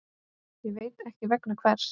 Ég veit ekki vegna hvers.